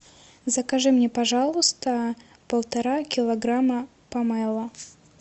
закажи мне пожалуйста полтора килограмма помело